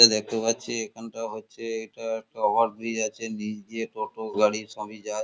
এটা দেখতে পাচ্ছি এখানটা হচ্ছে এটা ওভার ব্রিজ আছে নিচ দিয়ে টোটো গাড়ি সবই যায়।